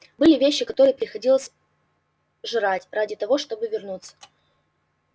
были вещи которые приходилось жрать ради того чтобы вернуться